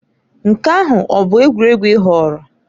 Nke ahụ bụ egwuregwu ị họọrọ?